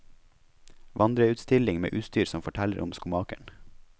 Vandreutstilling med utstyr som forteller om skomakeren.